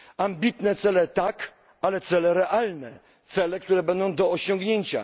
Ambitne cele tak, ale cele realne, cele, które będą do osiągnięcia.